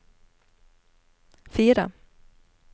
fire